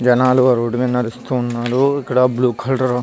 జనాలు రోడ్ మీద నడుస్తూ వున్నారు ఇక్కడ బ్లూ కలూర్ --